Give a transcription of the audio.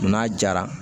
N'a jara